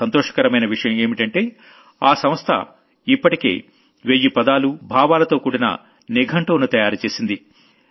చాలా సంతోషకరమైన విషయం ఏంటంటే ఆ సంస్థ ఇప్పటికే వెయ్యి పదాలు భావాలతో కూడిన డిక్ష్నరీని తయారు చేసింది